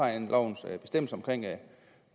andet også